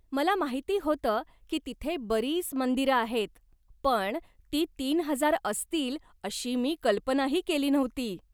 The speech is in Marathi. मला माहिती होतं की तिथे बरीच मंदिरं आहेत पण ती तीन हजार असतील अशी मी कल्पनाही केली नव्हती.